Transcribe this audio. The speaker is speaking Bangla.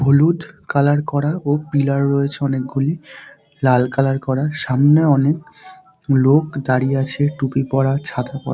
হলুদ কালার করা ও পিলার রয়েছে অনেকগুলি লাল কালার করা সামনে অনেক লোক দাঁড়িয়ে আছে টুপি পরা ছাতা পড়া।